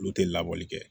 Olu tɛ labɔli kɛ